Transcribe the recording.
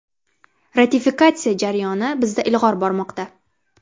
Ratifikatsiya jarayoni bizda ilg‘or bormoqda.